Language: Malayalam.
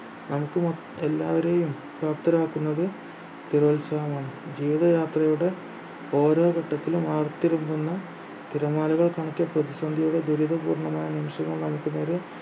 നമുക്ക് മ എല്ലാവരെയും പ്രാപ്തരാക്കുന്നത് ആക്കുന്നത് സ്ഥിരോത്സഹമാണ് ജീവിതയാത്രയുടെ ഓരോ ഘട്ടത്തിലും ആർത്തിരമ്പുന്ന തിരമാലകൾ കണക്കെ പ്രതിസന്ധിയുടെ ദുരിത പൂർണമായ നിമിഷങ്ങൾ നമുക്ക് നേരെ